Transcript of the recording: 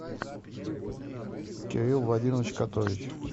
кирилл владимирович котович